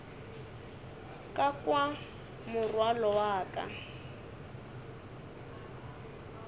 ka kwa morwalo wa ka